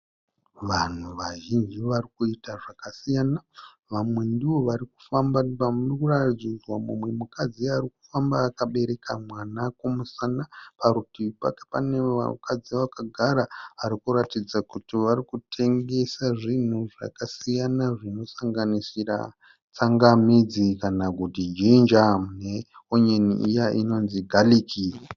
Vanhu vazhinji varikuita zvakasiyana. Vamwe ndivo varikufamba pa murikuratidza mumwe mukadzi arikufamba akabereka mwana kumusana. Parutivi pake pane vakadzi vakagara varikuratidza kuti varikutengesa zvinhu zvakasiyana zvinosanganisira tsangamidzi kana kuti ginger ne onion iya inonzii garlic.